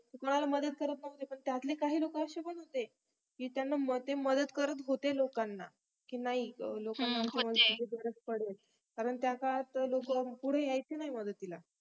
कुणाला मदत करत नव्हते पण त्यातली काही लोक अशे पण होते की त्यांना मिळ्ते मदत करत होते लोकांना की नाही लोकांना खरच माझी गरज पडेल कारण त्यांचा हात लवकर पुढे यायचे नाही मदतीला